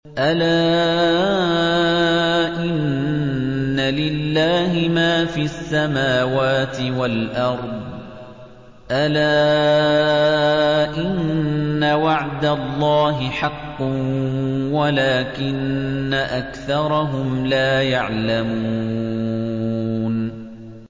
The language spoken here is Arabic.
أَلَا إِنَّ لِلَّهِ مَا فِي السَّمَاوَاتِ وَالْأَرْضِ ۗ أَلَا إِنَّ وَعْدَ اللَّهِ حَقٌّ وَلَٰكِنَّ أَكْثَرَهُمْ لَا يَعْلَمُونَ